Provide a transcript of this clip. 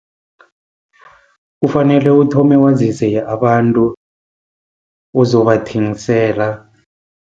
Kufanele uthome wazise abantu ozobathengisela.